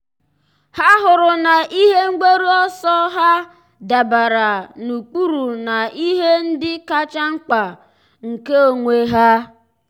há hụrụ na ihe mgbaru ọsọ ha dabara n’ụ́kpụ́rụ́ na ihe ndị kacha mkpa nke onwe ha.